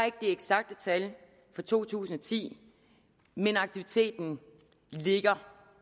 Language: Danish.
ikke de eksakte tal for to tusind og ti men aktiviteten ligger